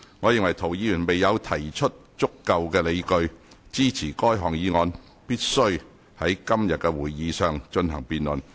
我認為涂議員未有提出足夠理據，支持該項議案必須在今天的會議上進行辯論。